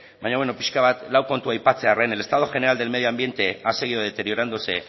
baina beno piska bat lau kontu aipatzearren el estado general del medio ambiente ha seguido deteriorándose